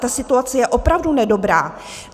Ta situace je opravdu nedobrá.